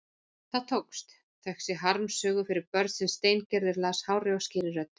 Það tókst, þökk sé harmsögu fyrir börn sem Steingerður las hárri og skýrri röddu.